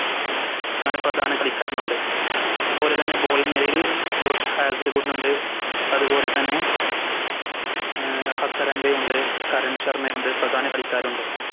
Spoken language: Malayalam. അങ്ങനെ പ്രധാന കളിക്കാരനുണ്ട് അതുപോലെതന്നെ Bowling നിരയിൽ ജോഷ് ഉണ്ട് അതുപോലെ തന്നെ ഉം ഹസരങ്ക ഉണ്ട് കരൺ ശർമ്മ ഉണ്ട് പ്രധാന കളിക്കാരുണ്ട്